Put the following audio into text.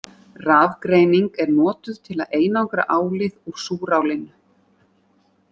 Rafgreining er notuð til að einangra álið úr súrálinu.